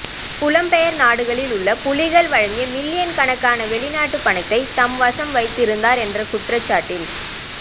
புலம்பெயர் நாடுகளில் உள்ள புலிகள் வழங்கிய மில்லியன் கணக்கான வெளிநாட்டு பணத்தை தம்வசம் வைத்திருந்தார் என்ற குற்றச்சாட்டில்